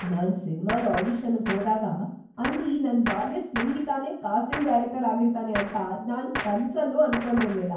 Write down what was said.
ನಾನ್ ಸಿನ್ಮಾದ್ ಆಡಿಷನ್ನಿಗ್ ಹೋದಾಗ ಅಲ್ಲಿ ನನ್ ಬಾಲ್ಯದ್ ಸ್ನೇಹಿತನೇ ಕಾಸ್ಟಿಂಗ್ ಡೈರೆಕ್ಟರ್‌ ಆಗಿರ್ತಾನೆ ಅಂತ ನಾನ್‌ ಕನ್ಸಲ್ಲೂ ಅನ್ಕೊಂಡಿರ್ಲಿಲ್ಲ.